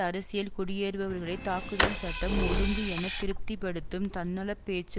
அரசியல் குடியேறுபவர்களை தாக்குதல் சட்டம் ஒழுங்கு என திருப்தி படுத்தும் தன்னலப் பேச்சு